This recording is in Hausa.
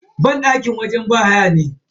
Banɗaki wajen yin bahaya ne.